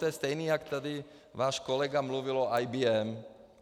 To je stejné jako tady váš kolega mluvil o IBM.